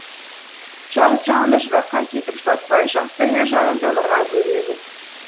жалғыз жанымды жыраққа кетіп жылатпай жақсы әйел жанымды нұрға бөлегін